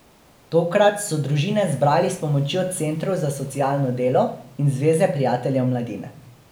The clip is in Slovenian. Tokrat so družine zbrali s pomočjo centrov za socialno delo in Zveze prijateljev mladine.